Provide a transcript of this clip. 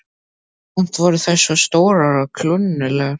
Samt voru þær svo stórar og klunnalegar.